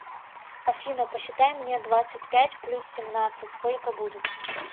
афина посчитай мне двадцать пять плюс семнадцать сколько будет